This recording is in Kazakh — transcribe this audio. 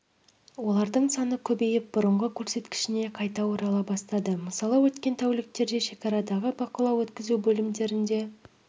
олардың саны көбейіп бұрынғы көрсеткішіне қайта орала бастады мысалы өткен тәуліктерде шекарадағы бақылау өткізу бөлімдерінде